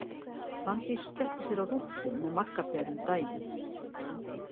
Fanndís skellti sér á rúntinn með Magga Peru um daginn.